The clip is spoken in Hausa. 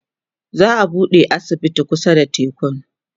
za'a buɗe asibiti kusa da tekun